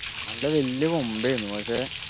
നല്ല വെല്ല കൊമ്പ് ഏർന്നു പക്ഷെ